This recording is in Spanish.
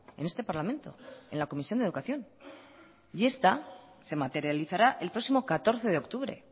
en este parlamento en la comisión de educación y esta se materializará el próximo catorce de octubre